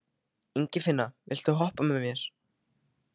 Ingifinna, viltu hoppa með mér?